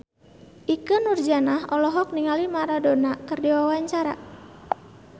Ikke Nurjanah olohok ningali Maradona keur diwawancara